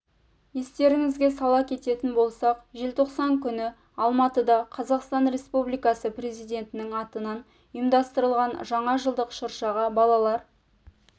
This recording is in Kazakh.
естеріңізге сала кететін болсақ желтоқсан күні алматыда қазақстан республикасы президентінің атынан ұйымдастырылған жаңа жылдық шыршаға балалар